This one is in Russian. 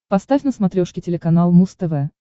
поставь на смотрешке телеканал муз тв